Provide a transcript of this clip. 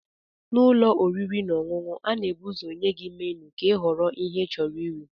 N'ụlọ oriri na ọṅụṅụ, a ga-ebu ụzọ nye gị menu ka ịhọrọ ihe ịchọrọ iri.